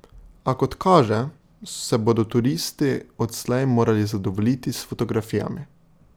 A, kot kaže, se bodo turisti odslej morali zadovoljiti s fotografijami.